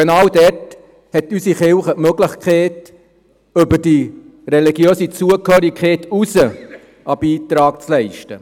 Genau dort hat unsere Kirche die Möglichkeit, über die religiöse Zugehörigkeit hinaus einen Beitrag zu leisten.